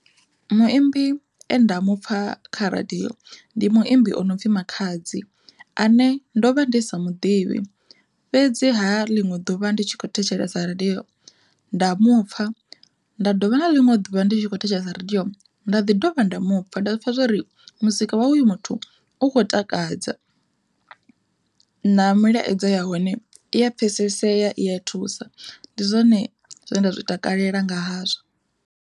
Muimbi enda mupfha kha radiyo ndi muimbi o no pfi Makhadzi, ane ndo vha ndi sa muḓivhi, fhedziha ḽiṅwe ḓuvha ndi tshi kho thetshelesa radiyo nda mupfha nda dovha na ḽiṅwe ḓuvha ndi tshi kho thetshelesa radiyo nda ḓi dovha nda mupfha nda zwi pfha zwori muzika wawe hoyu muthu u khou takadza na mulaedza ya hone i ya pfhesesea i ya thusa ndi zwone zwine nda zwi takalela nga hazwo.